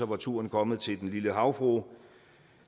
var turen kommet til den lille havfrue